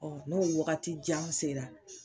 n'o wakati jan sera